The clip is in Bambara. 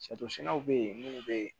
bɛ yen minnu bɛ yen